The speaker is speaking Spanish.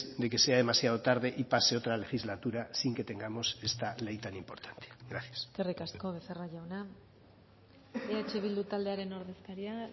de que sea demasiado tarde y pase otra legislatura sin que tengamos esta ley tan importante gracias eskerrik asko becerra jauna eh bildu taldearen ordezkaria